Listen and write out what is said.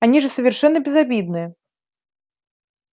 они же совершенно безобидны